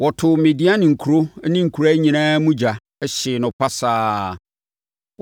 Wɔtoo Midian nkuro ne nkuraa nyinaa mu ogya, hyee no pasaa.